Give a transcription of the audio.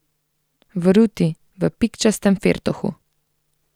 V ruti, v pikčastem firtohu.